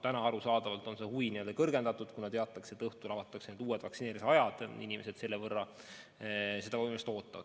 Täna arusaadavalt on see huvi kõrgendatud, kuna teatakse, et õhtul avatakse uued vaktsineerimisajad, ja inimesed seda võimalust ootavad.